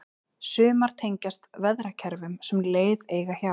sumar tengjast veðrakerfum sem leið eiga hjá